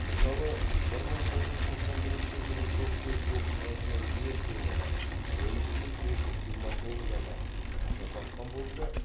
мысалы бір мың тоғыз жүз тоқсан бірінші жылы жол көлік оқиғасынан ең көп адам он үш мың төрт жүз жиырма тоғыз адам қаза тапқан болса